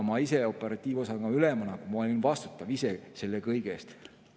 Ma ise operatiivosakonna ülemana olin selle kõige eest vastutav.